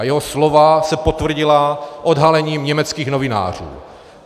A jeho slova se potvrdila odhalením německých novinářů.